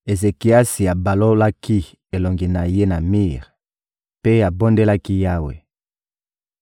Ezekiasi abalolaki elongi na ye na mir mpe abondelaki Yawe: